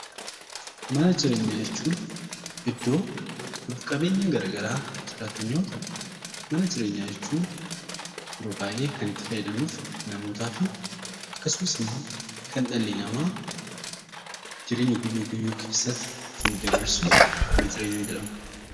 Mana jireenyaa jechuun iddoo lubbu qabeeyyiin gara garaa jiraatan yoo ta'u mana jireenyaa jechuun yeroo baay'ee kan itti fayyadamnuuf namootaa fi akkasumas immoo kan dhalli namaa jireenya guyyuu guyyuu keessatti ittiin dabarsu mana jireenyaa jedhama.